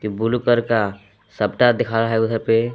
एक blue colour का सप्ता दिखा रहा है उधर पे।